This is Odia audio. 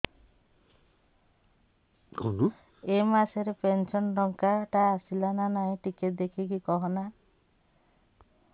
ଏ ମାସ ରେ ପେନସନ ଟଙ୍କା ଟା ଆସଲା ନା ନାଇଁ ଟିକେ ଦେଖିକି କହନା